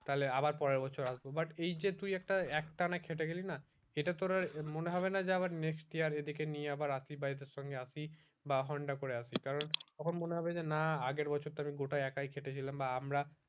তাহলে আবার পরের বছর আসবো but এই যে তুই একটা একটানা খেটে গেলি না সেটা তোর আবার মনে হবে না যে আবার next year এ এদিকে নিয়ে আবার আসি বা এদের সঙ্গে আসি বা honda করে আসি কারণ তখন মনে হবে যে না আগের বছর তো আমি গোটাই একাই খেটেছিলাম বা আমরা